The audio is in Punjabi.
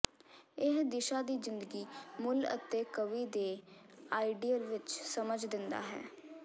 ਇਹ ਦਿਸ਼ਾ ਦੀ ਜ਼ਿੰਦਗੀ ਮੁੱਲ ਅਤੇ ਕਵੀ ਦੇ ਆਈਡੀਅਲ ਵਿੱਚ ਸਮਝ ਦਿੰਦਾ ਹੈ